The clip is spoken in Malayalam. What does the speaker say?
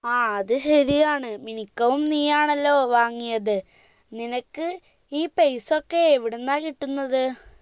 ആ അത് ശരിയാണ് മിനിക്കവും നീയാണല്ലോ വാങ്ങിയത് നിനക്ക് ഈ പെയ്‌സ ഒക്കെ എവിടുന്നാ കിട്ടുന്നത്